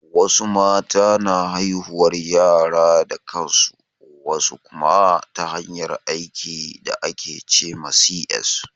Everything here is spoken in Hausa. Wasu mata na haihuwar yara da kansu, wasu kuma ta hanyar aiki da ake ce ma C.S